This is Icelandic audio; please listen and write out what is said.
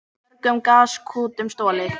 Mörgum gaskútum stolið